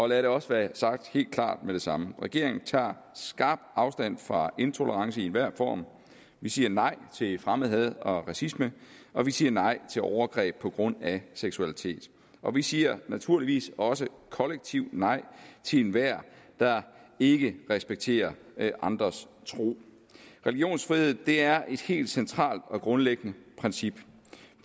lad det også være sagt helt klart med det samme regeringen tager skarpt afstand fra intolerance i enhver form vi siger nej til fremmedhad og racisme og vi siger nej til overgreb på grund af seksualitet og vi siger naturligvis også kollektivt nej til enhver der ikke respekterer andres tro religionsfrihed er et helt centralt og grundlæggende princip